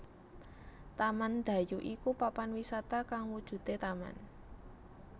Taman Dayu iku papan wisata kang wujude taman